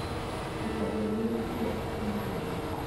Ndũkahũrĩre nguo hakuhĩ na rũĩ